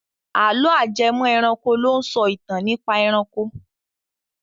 Àlọ́ ajẹmọ́-ẹranko ló ń sọ ìtàn nípa ẹranko.